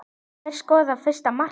Hver skoraði fyrsta markið?